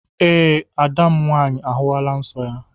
Ee, ada m nwaanyị ahụwala nsọ ya